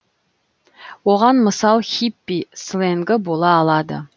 оған мысал хиппи сленгі бола алады